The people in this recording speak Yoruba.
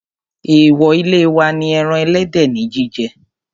Èwò ilé wa ni ẹran ẹlẹ́dẹ̀ ní jíjẹ.